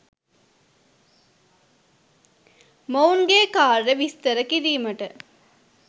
මොවුන්ගේ කාර්යය විස්තර කිරීමට